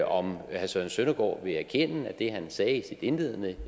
om herre søren søndergaard vil erkende at det han sagde i sit indledende